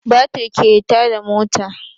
Batir ke tada mota